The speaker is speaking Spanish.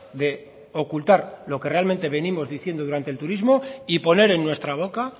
de ocultar lo que realmente venimos diciendo durante el turismo y poner en nuestra boca